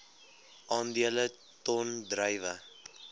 aandele ton druiwe